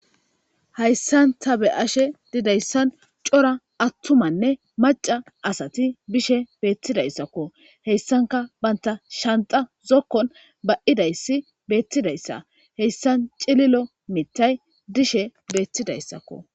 Hayssanta be ashe didayssan cora attumanne maca asati bishe beettidayssakko heyssanka banta shanta zokkon ba7idayssi beettidayssa heyssan cililo mittay dishe beettidayssakko